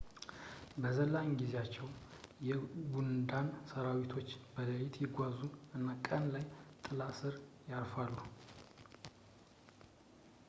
በ ዘላን ጊዜያቸው የ ጉንዳን ሰራዊቶች በሌሊት ይጓዙ እና ቀን ላይ ጥላ ስር ያርፋሉ